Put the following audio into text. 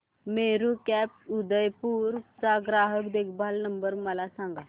Meru cabs Udaipur चा ग्राहक देखभाल नंबर मला सांगा